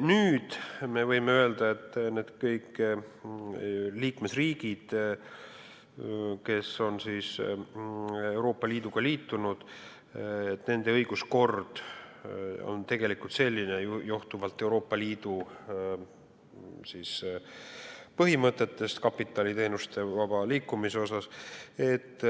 Nüüd me võime öelda, et kõikide Euroopa Liiduga liitunud riikide õiguskord on tegelikult selline, johtuvalt kapitali ja teenuste vaba liikumise põhimõtetest, et